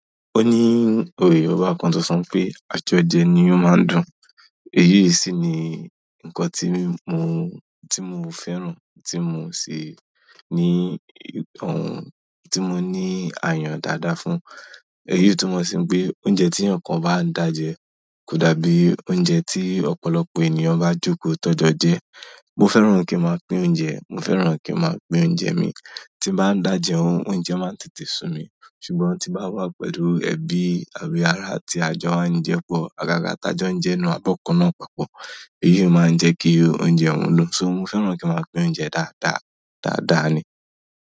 Ó ní òwe Yorùbá kan tó sọ pé 'àjọjẹ ní ó máa ń dùn'. Èyí sì ni nǹkan tí mo, tí mo fẹ́ràn, tí mo sì ní ohun tí mo ní ayan dáadáa fún. Èyí tu mọ̀ sí peé oúnjẹ tí eeyankan bá dàjẹ́ kò dàbí oúnjẹ tí ọ̀pọ̀lọpọ̀ ènìyàn bá jòkó ti won jo jẹ. Mo fẹ́ràn kí máa pín oúnjẹ, mo fẹ́ràn kí máa pín oúnjẹ mi. Tí bá dàjẹ́ ohun, oúnjẹ máa ń tètè sùn mí, ṣùgbọ́n tí bá wà pẹ̀lú ẹbí àbí ará tí a jọ máa ń jẹ pọ̀, àgaga tí a jo un je nínú ábọ́kàná papọ̀. Èyí máa ń jẹ́ kí oúnjẹ òun dùn. So mo fẹ́ràn kí a máa pín oúnjẹ dáadáa, dáadáa ni.